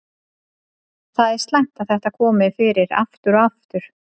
Það er slæmt að þetta komi fyrir aftur og aftur.